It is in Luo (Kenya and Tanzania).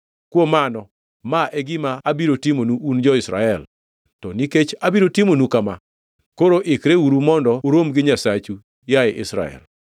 “Kuom mano, ma e gima abiro timonu un jo-Israel, to nikech abiro timonu kama, koro ikreuru mondo urom gi Nyasachu, yaye Israel.”